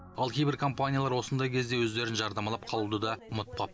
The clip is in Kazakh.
ал кейбір компаниялар осындай кезде өздерін жарнамалап қалуды да ұмытпапты